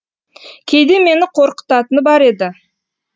кейде мені қорқытатыны бар еді